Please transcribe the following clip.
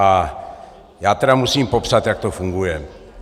A já tedy musím popsat, jak to funguje.